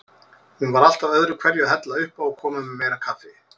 Hún var alltaf öðruhverju að hella uppá og koma með meira kaffi.